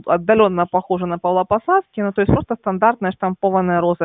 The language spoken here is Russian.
отдалённо похожа на павлопосадский но то есть просто стандартная штампованная роза